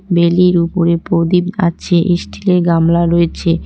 বেলির উপরে প্রদীপ আছে ইস্টিলের গামলা রয়েছে।